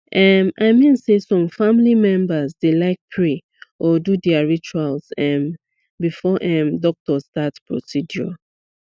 um i mean say some family members dey like pray or do their rituals um before um doctor start procedure